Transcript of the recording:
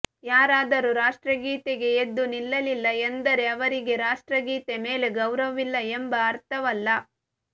ಯಾರಾದರೂ ರಾಷ್ಟ್ರಗೀತೆಗೆ ಎದ್ದು ನಿಲ್ಲಲಿಲ್ಲ ಎಂದರೆ ಅವರಿಗೆ ರಾಷ್ಟ್ರಗೀತೆ ಮೇಲೆ ಗೌರವವಿಲ್ಲ ಎಂಬ ಅರ್ಥವಲ್ಲ